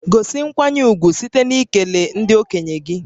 Gosi nkwanye ùgwù site n'ikele ndị okenye gị